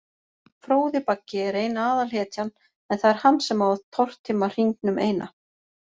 Fróði Baggi er ein aðalhetjan, en það er hann sem á að tortíma hringnum eina.